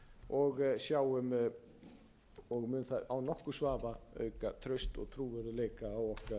og sjáum og mun það án nokkurs vafa auka traust og trúverðugleika á okkar fjármálamarkaði og